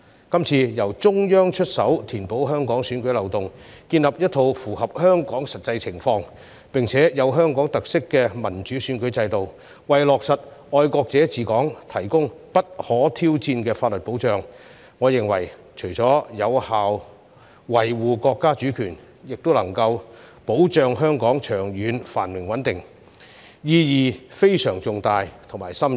這次由中央出手填補香港選舉漏洞，建立一套符合香港實際情況，並具有香港特色的民主選舉制度，為落實"愛國者治港"提供不可挑戰的法律保障，我認為除有效維護國家主權外，亦能保障香港長遠繁榮穩定，意義非常重大且深遠。